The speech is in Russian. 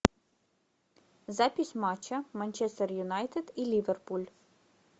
запись матча манчестер юнайтед и ливерпуль